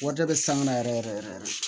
Warijɛ bɛ sanga na yɛrɛ yɛrɛ yɛrɛ